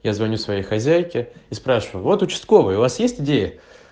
я звоню своей хозяйке и спрашиваю вот участковой у вас есть идея